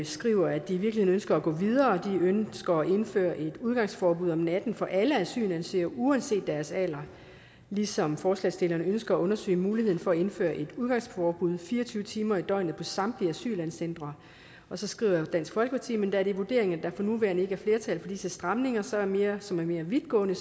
skriver at de ønsker at gå videre de ønsker at indføre et udgangsforbud om natten for alle asylansøgere uanset deres alder ligesom forslagsstillerne ønsker at undersøge muligheden for at indføre et udgangsforbud fire og tyve timer i døgnet på samtlige asylcentre og så skriver dansk folkeparti men da det er vurderingen at der for nuværende ikke er flertal for disse stramninger stramninger som er mere vidtgående